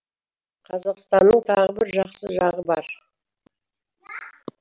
қазақстанның тағы бір жақсы жағы бар